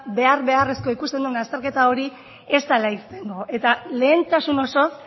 behar beharrezkoa ikusten dugun azterketa hori ez dela irtengo eta lehentasun osoz